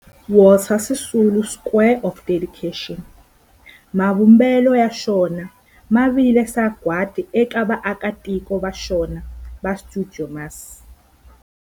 Walter Sisulu Square of Dedication, mavumbelo ya xona ya vile sagwadi eka vaaki va xona va stuidio MAS.